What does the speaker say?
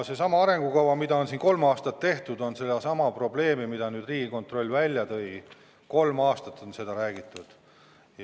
Seda arengukava on kolm aastat tehtud ja sellest probleemist, mille Riigikontroll välja tõi, on ka kolm aastat räägitud.